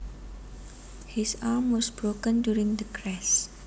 His arm was broken during the crash